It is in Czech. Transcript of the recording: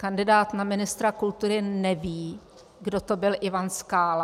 Kandidát na ministra kultury neví, kdo to byl Ivan Skála?